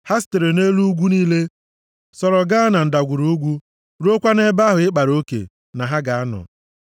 Ha sitere nʼelu ugwu niile, sọrọ gaa na ndagwurugwu, ruokwa nʼebe ahụ ị kpara oke na ha ga-anọ.